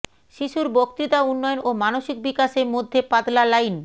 শিশুর বক্তৃতা উন্নয়ন ও মানসিক বিকাশে মধ্যে পাতলা লাইন